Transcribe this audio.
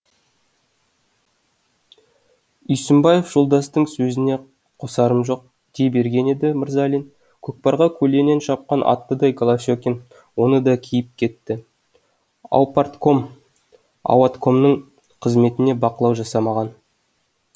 үйсінбаев жолдастың сөзіне қосарым жоқ дей берген еді мырзалин көкпарға көлденең шапқан аттыдай голощекин оны да киіп кетті аупартком ауаткомның қызметіне бақылау жасамаған